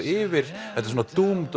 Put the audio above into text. yfir þetta er svona